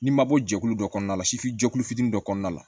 N'i ma bɔ jɛkulu dɔ kɔnɔna la sifujɛkulu fitinin dɔ kɔnɔna la